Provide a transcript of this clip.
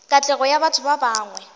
katlego ya batho ba bangwe